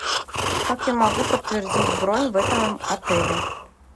как я могу подтвердить бронь в этом отеле